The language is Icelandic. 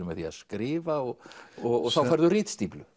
með því að skrifa og og þá færðu ritstíflu